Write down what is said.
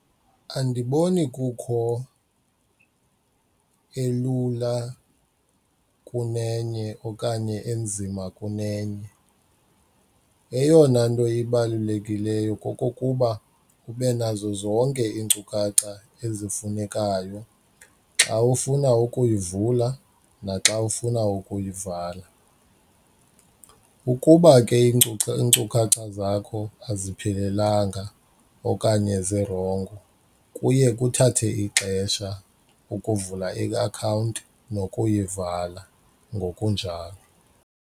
Andiboni kukho elula kunenye okanye enzima kunenye, eyona nto ibalulekileyo kokokuba ube nazo zonke iinkcukacha ezifunekayo xa ufuna ukuyivula naxa ufuna ukuyivala. Ukuba ke iinkcukacha zakho aziphelelanga okanye zirongo kuye kuthathwe ixesha ukuvula iakhawunti nokuyivala ngokunjalo.